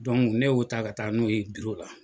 ne y'o ta ka ka taa n'o ye la